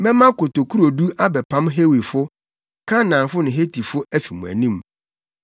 Mɛma kotokurodu abɛpam Hewifo, Kanaanfo ne Hetifo afi mo anim.